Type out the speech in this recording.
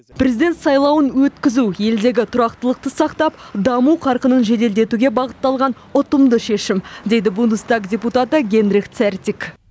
президент сайлауын өткізу елдегі тұрақтылықты сақтап даму қарқынын жеделдетуге бағытталған ұтымды шешім дейді бундестаг депутаты генрих цертик